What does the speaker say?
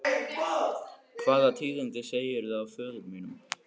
Hvaða tíðindi segirðu af föður mínum?